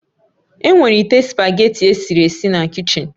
Enwere ite spugeetí i esiri esi na kichin